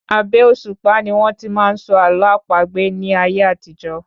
Abẹ́ òṣùpá ni wón tí máa n sọ àlọ́ àpagbè ní ayé àtijó